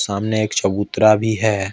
सामने एक चबूतरा भी है।